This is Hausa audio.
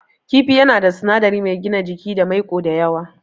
Kifi yana da sinadari mai gina jiki da maiƙo da yawa.